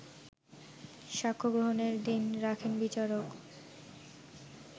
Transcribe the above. সাক্ষ্যগ্রহণের দিন রাখেন বিচারক